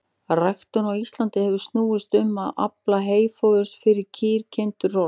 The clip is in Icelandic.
Ræktun á Íslandi hefur snúist um að afla heyfóðurs fyrir kýr, kindur og hross.